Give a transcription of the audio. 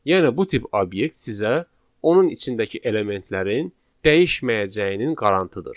Yəni bu tip obyekt sizə onun içindəki elementlərin dəyişməyəcəyinin qarantıdır.